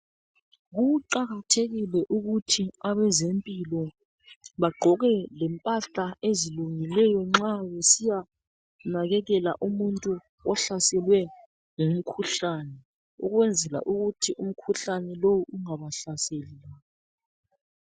Kuqakathekile ukuthi abezempilo bagqoke lempahla ezilungileyo nxa besiyanakekela umuntu ohlaselwe ngumkhuhlane ukwenzela ukuthi umkhuhlane lowu ungabahlaseli.